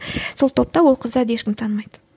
сол тобта ол қыздарды ешкім танымайды